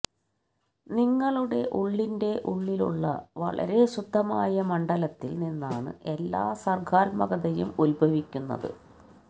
നിങ്ങളുടെ ഉള്ളിന്റെ ഉള്ളിലുള്ള വളരെ ശുദ്ധമായ മണ്ഡലത്തില് നിന്നാണ് എല്ലാ സര്ഗ്ഗാത്മകതയും ഉത്ഭവിക്കുന്നത്